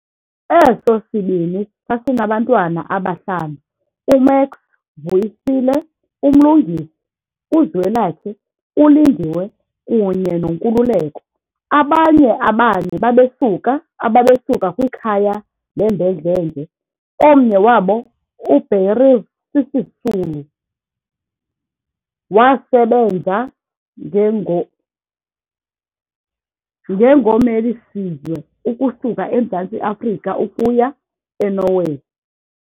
Eso sibini sasinabantwana abahlanu, uMax Vuyisile, uMlungisi, uZwelakhe uLindiwe kunye noNkululeko, abanye abane ababesuka kwikhaya lembhedlenge, omnye wabo uBeryl Sisulu, wasebenza ngengommeli-sizwe ukusuka eMzantsi Afrika ukuya eNorway.